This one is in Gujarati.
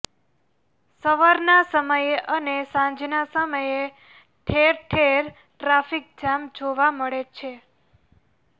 સવારના સમયે અને સાંજના સમયે ઠેરઠેર ટ્રાફીક જામ જોવા મળે છે